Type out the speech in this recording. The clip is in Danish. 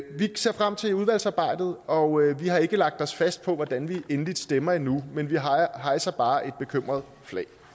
ser frem til udvalgsarbejdet og vi har ikke lagt os fast på hvordan vi endeligt stemmer endnu men vi hejser bare et bekymret flag